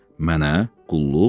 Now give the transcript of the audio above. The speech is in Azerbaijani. Mənə qulluq?